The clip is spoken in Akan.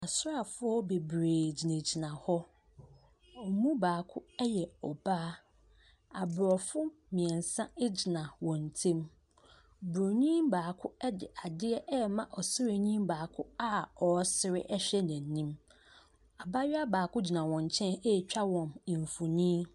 Asraafoɔ bebree gyinagyina hɔ a wɔn mu baako yɛ ɔbaa. Aborɔfo mmeɛnsa gyina wɔn ntam. Buroni baako de adeɛ rema ɔsraani baako a ɔresere hwɛ n'anim. Abayewa baako gyina wɔn nkyɛn retwa wɔn mfonin.